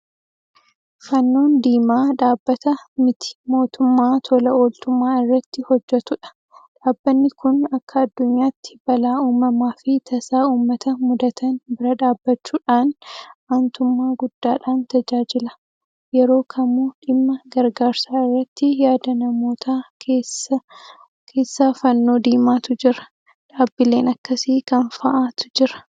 Fannoon Diimaa dhaabbata miti mootummaa tola ooltummaa irratti hojjetudha. Dhaabbanni kun akka addunyaatti balaa uumamaafi tasaa uummata mudatan bira dhaabbachuudhaan aantummaa guddaadhaan tajaajila. Yeroo kamuu dhimma gargaarsaa irratti yaada namootaa keessa Fannoo Diimaatu jira. Dhaabbileen akkasii kam fa'aatu jira?